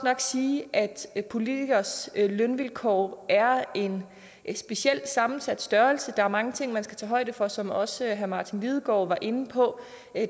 sige at politikeres lønvilkår er en specielt sammensat størrelse for der er mange ting man skal tage højde for som også herre martin lidegaard var inde på